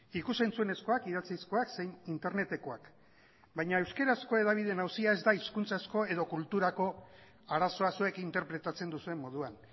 ikus entzunezkoak idatzizkoak zein internetekoak baina euskarazko hedabideen auzia ez da hizkuntzazko edo kulturako arazoa zuek interpretatzen duzuen moduan